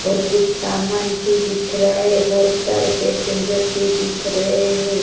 और कुछ सामान भी दिख रहा है यह बहोत सारे पैसेंजर भी दिख रहे हैं।